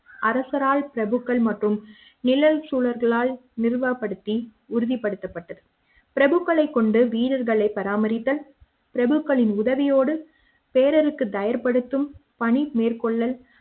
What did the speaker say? அரசராய் பிரபுக்கள் மற்றும் நிழல் சூழல்களால் நிறுவப்படுத்தி உறுதிப்படுத்தப்பட்டது பிரபுக்களை கொண்டு வீரர்களை பராமரித்தல் பிரபுக்களின் உதவியோடு தேர்வுக்கு தயார் படுத்தும் பணி மேற்கொள்ள